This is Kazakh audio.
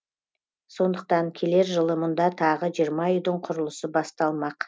сондықтан келер жылы мұнда тағы жиырма үйдің құрылысы басталмақ